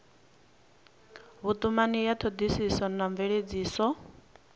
vhutumani ya thodisiso na mveledziso